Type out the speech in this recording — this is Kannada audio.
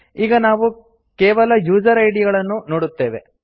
ಈಗ ನಾವು ಕೇವಲ ಯೂಸರ್ ಐಡಿ ಗಳನ್ನು ನೋಡುತ್ತೇವೆ